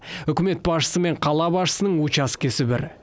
үкімет басшысы мен қала басшысының учаскесі бір